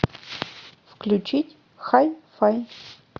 включить хай фай